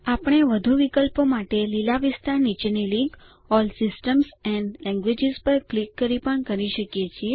આપણે વધુ વિકલ્પો માટે લીલા વિસ્તાર નીચેની link all systems and languages પર ક્લિક કરી પણ કરી શકીએ છીએ